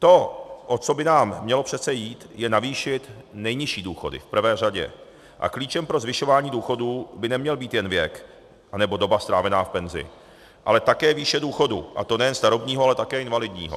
To, o co by nám mělo přece jít, je navýšit nejnižší důchody v prvé řadě a klíčem pro zvyšování důchodů by neměl být jen věk anebo doba strávená v penzi, ale také výše důchodu, a to nejen starobního, ale také invalidního.